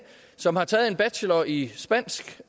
som har taget en bachelor i spansk